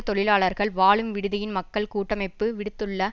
தொழிலாளர்கள் வாழும் விடுதியின் மக்கள் கூட்டமைப்பு விடுத்துள்ள